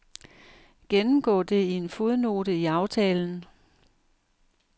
Gennemgå det i en fodnote i aftalen.